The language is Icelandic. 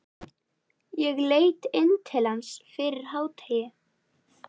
Ég leit inn til hans fyrir hádegi.